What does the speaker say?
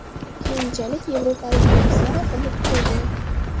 Keyinchalik yevropalik turistlar oqimi kuchaygan.